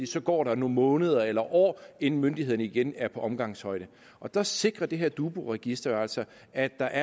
så går nogle måneder eller år inden myndighederne igen er på omgangshøjde og der sikrer det her dubu register jo altså at der